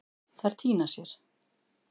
Þær týna sér.